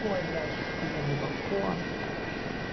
ой блять ахуенный балкон ой